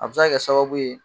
A bɛ se ka kɛ sababu ye